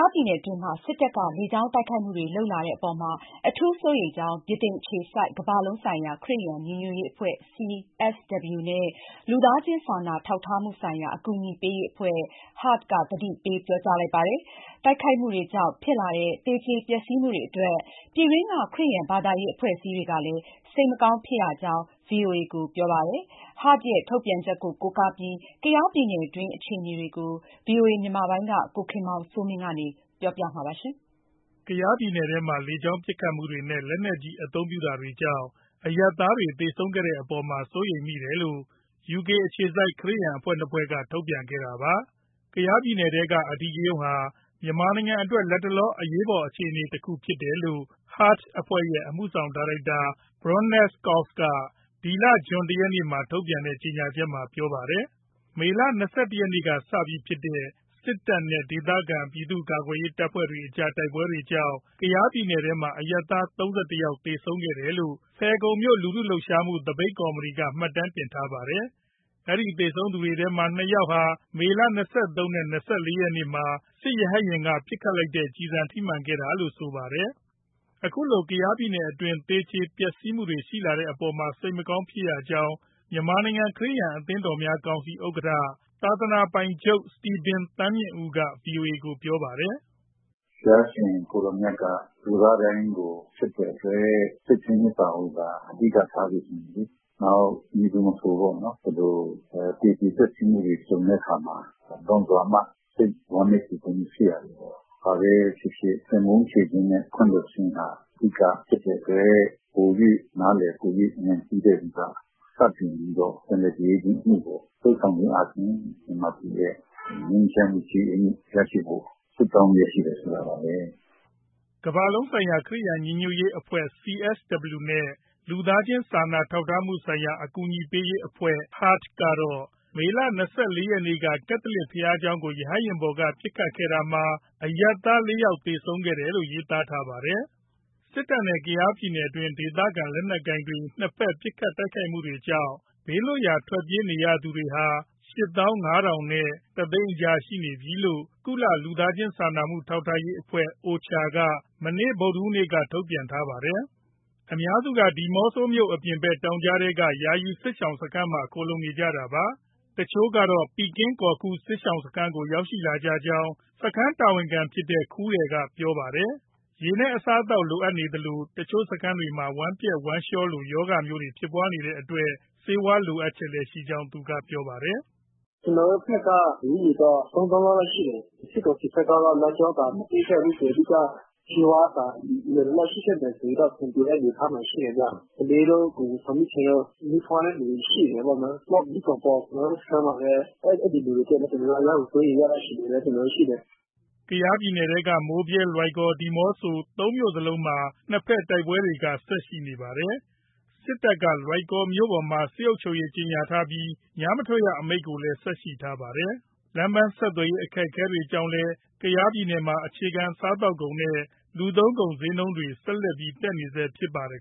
ားပြည်နယ်အတွင်းမှာ စစ်တပ်က လေကြောင်းတိုက်ခတ်မှုတွေ လုပ်လာတဲ့အပေါ်မှာ အထူးစိုးရိမ်ကြောင်း ဗြိတိန်အခြေစိုက် ကမ္ဘာလုံးဆိုင်ရာ ခရစ်ယာန် ညီညွတ်ရေးအဖွဲ့ CSW နဲ့ လူသားချင်း စာနာထောက်ထားမှုဆိုင်ရာ အကူအညီပေးရေးအဖွဲ့ HART က သတိပေး ပြောကြားလိုက်ပါတယ်။ တိုက်ခိုက်မှုတွေကြောင့် ဖြစ်လာတဲ့ သေကြေ၊ ပျက်စီးမှုတွေအတွက် ပြည်တွင်းက ခရစ်ယာန်ဘာသာရေး အဖွဲ့အစည်းတွေကလည်း စိတ်မကောင်း ဖြစ်ရကြောင်း ဗွီအိုအေကို ပြောပါတယ်။ HART ရဲ့ ထုတ်ပြန်ချက်ကို ကိုးကားပြီး ကယားပြည်နယ်တွင်း အခြေအနေတွေကို ဗွီအိုအေ မြန်မာက ကိုခင်မောင်စိုးမင်း က ပြောပြပေးမှာပါ။ ကယားပြည်နယ်ထဲမှာ လေကြောင်းပစ်ခတ်မှုတွေနဲ့ လက်နက်ကြီး အသုံးပြုတာတွေကြောင့် အရပ်သားတွေ သေဆုံးခဲ့တဲ့အပေါ်မှာ စိုးရိမ်မိတယ်လို့ UK အခြေစိုက် ခရစ်ယာန်အဖွဲ့ နှစ်ဖွဲ့က ထုတ်ပြန်ခဲ့တာပါ။ “ ကယားပြည်နယ်ထဲက အဓိကရုဏ်းဟာ မြန်မာနိုင်ငံအတွက် လတ်တလော အရေးအပေါ် အခြေအနေတခု ဖြစ်တယ်” လို့ HART ရဲ့ အမှုဆောင်ဒါရိုက်တာ Baroness Cox က ဇွန်လ ၁ရက်မှာထုတ်ပြန်တဲ့ ကြေညာချက်မှာ ပြောပါတယ် ။ မေလ ၂၁ ရက်ကစပြီးဖြစ်နေတဲ့ စစ်တပ်နဲ့ ဒေသခံ ပြည်သူ့ကာကွယ်ရေး တပ်တွေအကြား တိုက်ပွဲတွေကြောင့် ကယားပြည်နယ်မှာ အရပ်သား ၃၁ ယောက်သေဆုံးခဲ့တယ်လို့ ဖယ်ခုံမြို့ လူထုလှုပ်ရှားမှု သပိတ်ကော်မတီက မှတ်တမ်းတင်ထားပါတယ်။ အဲဒီသေဆုံးသူတွေထဲက နှစ်ယောက်ဟာ မေလ ၂၃ နဲ့ ၂၄ ရက်မှာ စစ်ရဟတ်ယာဉ်ပေါ်က ပစ်လိုက်တဲ့ ကျည်ဆံထိမှန်ခဲ့တာလို့ ဆိုပါတယ်။ အခုလို ကယားပြည်နယ်အတွင်း သေကြေပျက်စီးမှုတွေ ရှိလာတဲ့အပေါ်မှာ စိတ်မကောင်းဖြစ်ရကြောင်း မြန်မာနိုင်ငံ ခရစ်ယာန် အသင်းတော်များကောင်စီ ဥက္ကဋ္ဌ၊ သာသနာပိုင်ချုပ် စတီဗင်သန်းမြင့်ဦးက ဗွီအိုအေကို ပြောပါတယ်။ “ ဘုရားရှင် ကိုယ်တော်မြတ်က လူသားတိုင်းကို ချစ်တဲ့အတွက် ချစ်ချင်းမေတ္တာကိုသာ အဓိက ထားစေချင်တယ်။ နောက် မည်သူမဆို ဒီလိုသေကြေ ပျက်စီးမှုတွေ ကြုံတဲ့အခါမှာ လွန်စွာမှ စိတ်ဝမ်းနည်း ကြေကွဲမှု ဖြစ်ရတယ်ပေါ့။ ဘာပဲဖြစ်ဖြစ် သင်ပုန်းချေခြင်းနဲ့ ခွင့်လွှတ်ခြင်းဟာ အဓိက ဖြစ်တဲ့အတွက် ပို၍နားလည်၊ ပို၍ဉာဏ်ရှိတဲ့သူက စတင်ပြီးတော့ ပြန်လည်ကြေအေးခြင်းအမှုကို လုပ်ဆောင်ခြင်းအားဖြင့် မြန်မာပြည်ရဲ့ ငြိမ်းချမ်းမှု၊ ကြေအေးမှု ရရှိဖို့ ဆုတောင်းလျက်ရှိတယ် ဆိုတာပါပဲ။” ကမ္ဘာလုံးဆိုင်ရာ ခရစ်ယာန်ညီညွတ်ရေးအဖွဲ့ CSW နဲ့ လူသားချင်း စာနာထောက်ထားမှုဆိုင်ရာ အကူအညီပေးရေးအဖွဲ့ HART ကတော့ မေလ ၂၄ ရက်က ကက်သလစ် ဘုရားကျောင်းကို ရဟတ်ယာဉ်ပေါ်က ပစ်ခတ်ခဲ့တာမှာ အရပ်သား ၄ယောက် သေဆုံးခဲ့တယ်လို့ ရေးသားထားပါတယ်။ စစ်တပ်နဲ့ ကယားပြည်နယ်တွင်း ဒေသခံလက်နက်ကိုင်တွေ နှစ်ဘက်ပစ်ခတ်မှုတွေကြောင့် ဘေးလွတ်ရာ ထွက်ပြေးနေရသူဟာ ၈၅,၀၀၀ နဲ့ ၁၀၀,၀၀၀ ကြား ရှိနေပြီလို့ ကုလလူသားချင်းစာနာ ထောက်ထားရေးအဖွဲ့ OCHA က ဒီနေ့ ဇွန်လ ၂ ရက်မှာ ထုတ်ပြန်ပါတယ်။ အများစုက ဒီမော့ဆိုးအပြင်ဘက် တောင်ကြားထဲက ယာယီစစ်ဘေးရှောင်စခန်းမှာ ခိုလှုံနေကြတာပါ။ တချို့ကတော့ ပီကင်းကောခူ စစ်ရှောင်စခန်းကို ရောက်လာကြကြောင်း စခန်းတာဝန်ခံဖြစ်တဲ့ ခူးရယ် က ပြောပါတယ်။ ရေ၊ အစားအသောက်လိုအပ်သလို တချို့စခန်းတွေမှာ ဝမ်းပျက်ဝမ်းလျှောလို ရောဂါမျိုးတွေဖြစ်နေတဲ့အတွက် ဆေးဝါးလိုအပ်ချက်လည်းရှိကြောင်း သူကပြောပါတယ်။ “ ကျနော်တို့ဘက်က လူဦးရေ ၃၀,၀၀၀ လောက်ရှိတယ်။ စစ်ကောင်စီဘက်က လမ်းကြောင်းသာ မပိတ်ခဲ့ဘူးဆိုရင် ဆေးဝါးသာ လုံလုံလောက်လောက် ရှိခဲ့မယ်ဆိုရင် အဆင်ပြေမယ့် အနေအထားမှာ ရှိတယ်ဗျ။ ကလေးတို့၊ ကိုယ်ဝန်ဆောင်မိခင်တို့၊ မီးဖွားတဲ့သူတွေရှိတယ်ပေါ့။ နောက် မြီးကောင်ပေါက် ကျနော်တို့ စခန်းမှာပဲ၊ အဲဒီလူတွေအတွက် ကျနော်တို့ အရမ်းကို စိုးရိမ်ရတဲ့ အခြေအနေတော့ ရှိတယ်။” ကယားပြည်နယ်ထဲက မိုးဗြဲ၊ လွိုင်ကော်၊ ဒီမော့ဆို သုံးမြို့နယ်စလုံးမှာ နှစ်ဘက်တိုက်ပွဲတွေက ဆက်ရှိနေပါတယ်။ စစ်တပ်က လွိုင်ကော်မြို့ပေါ်မှာ စစ်အုပ်ချုပ်ရေး ကြေညာထားပြီး ညမထွက်ရအမိန့်လည်း ဆက်ရှိနေပါတယ်။ လမ်းပမ်းဆက်သွယ်ရေး အခက်အခဲတွေကြောင့်လည်း ကယားပြည်နယ်မှာ အခြေခံ စားသောက်ကုန်နဲ့ လူသုံးကုန်ဈေးနှုန်းတွေ ဆက်တက်နေဆဲ ဖြစ်ပါတယ်